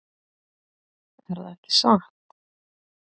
Erða ekki satt?